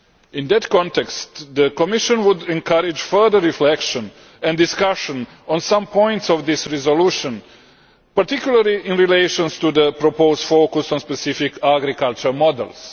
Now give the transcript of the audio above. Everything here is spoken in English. In that context, the Commission would encourage further reflection and discussion on some points of this resolution, particularly in relation to the proposed focus on specific agriculture models.